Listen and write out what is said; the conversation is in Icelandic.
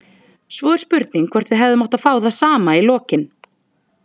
Svo er spurning hvort við hefðum átt að fá það sama í lokin.